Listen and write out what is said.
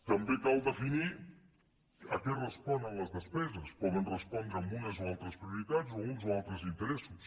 també cal definir a què responen les despeses poden respondre a unes o altres prioritats o uns o altres interessos